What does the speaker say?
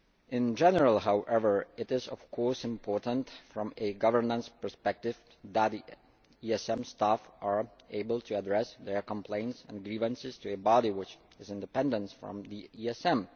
In general, however, it is of course important from a governance perspective that ESM staff are able to address their complaints and grievances to a body which is independent from the ESM.